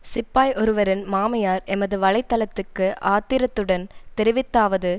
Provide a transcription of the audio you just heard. சிப்பாய் ஒருவரின் மாமியார் எமது வலை தளத்துக்கு ஆத்திரத்துடன் தெரிவித்தாவது